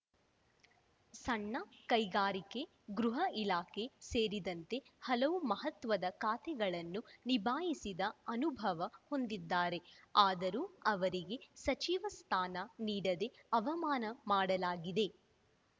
ಸಣ್ಣ ಕೈಗಾರಿಕೆ ಗೃಹ ಇಲಾಖೆ ಸೇರಿದಂತೆ ಹಲವು ಮಹ್ವತದ ಖಾತೆಗಳನ್ನು ನಿಭಾಯಿಸಿದ ಅನುಭವ ಹೊಂದಿದ್ದಾರೆ ಆದರೂ ಅವರಿಗೆ ಸಚಿವ ಸ್ಥಾನ ನೀಡದೆ ಅವಮಾನ ಮಾಡಲಾಗಿದೆ